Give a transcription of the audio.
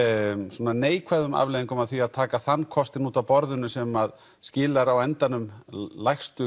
svona neikvæðum afleiðingum af því að taka þann kostinn út af borðinu sem skilar á endanum lægstu